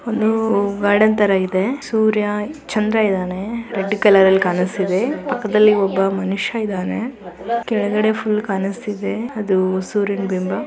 ಒಂದು ಗಾರ್ಡನ್ ತರ ಇದೆ. ಸೂರ್ಯ ಚಂದ್ರ ಇದ್ದಾನೆ ರೆಡ್ ಕಲರರಲ್ಲಿ ಕಾಣಿಸುತ್ತಿದೆ. ಪಕ್ಕದಲ್ಲಿ ಒಬ್ಬ ಮನುಷ್ಯ ಇದಾನೆ ಕೆಳಗಡೆ ಫುಲ್ ಕಾಣಿಸ್ತಿದೆ ಅದು ಸೂರ್ಯನ ಬಿಂಬ.